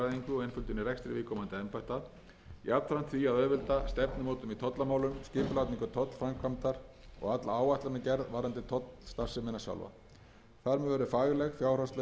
og einföldun í rekstri viðkomandi embætta jafnframt því að auðvelda stefnumótun í tollamálum skipulagningu tollframkvæmdar og alla áætlanagerð varðandi tollstarfsemina sjálfa þar með verður fagleg fjárhagsleg og stjórnunarleg ábyrgð færð á eina hendi embætti